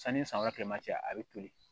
Sanni san wɛrɛ kilema cɛ a bɛ toli